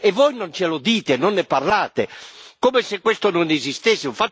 E voi non ce lo dite, non ne parlate, come se questo non esistesse.